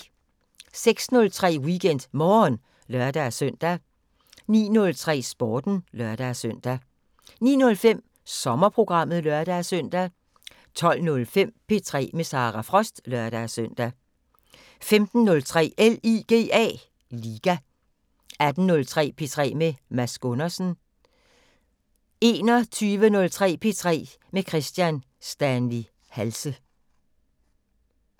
06:03: WeekendMorgen (lør-søn) 09:03: Sporten (lør-søn) 09:05: Sommerprogrammet (lør-søn) 12:05: P3 med Sara Frost (lør-søn) 15:03: LIGA 18:03: P3 med Mads Gundersen 21:03: P3 med Kristian Stanley Halse